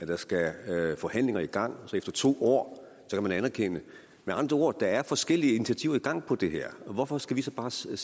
der skal forhandlinger i gang og så efter to år anerkende med andre ord er der forskellige initiativer i gang om det her så hvorfor skal vi så bare sætte